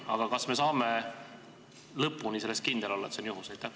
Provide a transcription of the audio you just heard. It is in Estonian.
Aga kas me saame lõpuni kindlad olla selles, et see on juhus?